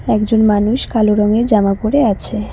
একজন মানুষ কালো রঙের জামা পরে আছে।